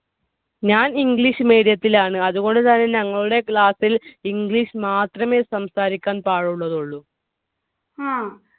ഞാൻ English medium ത്തിലാണ്. അതുകൊണ്ട് തന്നെ ഞങ്ങളുടെ class ൽ English മാത്രമെ സംസാരിക്കാൻ പാടുള്ളതുള്ളു.